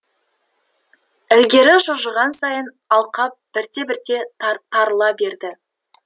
ілгері жылжыған сайын алқап бірте бірте тарыла берді